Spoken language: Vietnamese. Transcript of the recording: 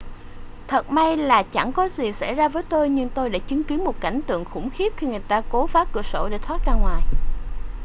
thật may là chẳng có gì xảy ra với tôi nhưng tôi đã chứng kiến một cảnh tượng khủng khiếp khi người ta cố phá cửa sổ để thoát ra ngoài